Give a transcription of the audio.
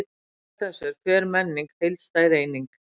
Samkvæmt þessu er hver menning heildstæð eining.